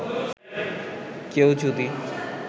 কেউ যদি